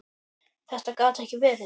Þetta gat ekki verið!